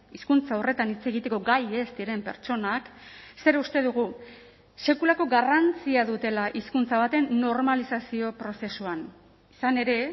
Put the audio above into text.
hizkuntza horretan hitz egiteko gai ez diren pertsonak zer uste dugu sekulako garrantzia dutela hizkuntza baten normalizazio prozesuan izan ere